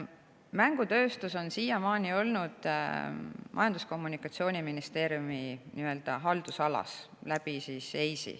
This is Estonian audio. Mängutööstus on siiamaani olnud EIS‑i kaudu Majandus‑ ja Kommunikatsiooniministeeriumi haldusalas.